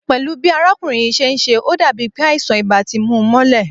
Pẹ́lú bi arákùnrin yìí ṣe ń ṣe, ó dàbí pé àìsàn ibà ti mú u mọ́lẹ̀